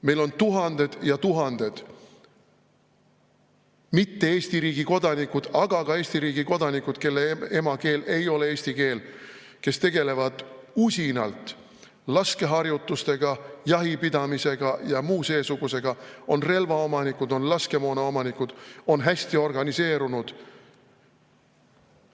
Meil on tuhanded ja tuhanded mitte Eesti riigi kodanikud, aga ka Eesti riigi kodanikud, kelle emakeel ei ole eesti keel, kes tegelevad usinalt laskeharjutustega, jahipidamisega ja muu seesugusega, on relvaomanikud, on laskemoonaomanikud, on hästi organiseerunud.